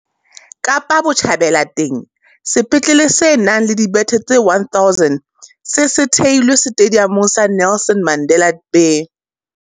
Kapa Botjhabela teng, sepetlele se nang le dibethe tse 1 000 se se se theilwe Setediamong sa Nelson Mandela Bay.